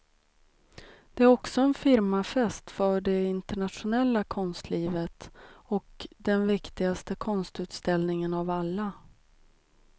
Det är också en firmafest för det internationella konstlivet och den viktigaste konstutställningen av alla.